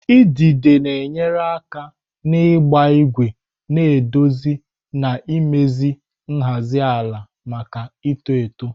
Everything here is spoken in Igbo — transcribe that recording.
idide na-enyere aka n'ịgba ígwè na-edozi na imezi nhazi ala maka ito eto.